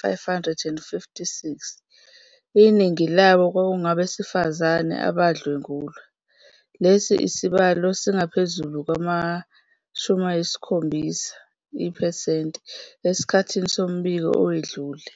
556, iningi labo kwakungabesifazane, badlwengulwa. Lesi sibalo singaphezulu ngama-7 iphesenti esikhathini sombiko owedlule.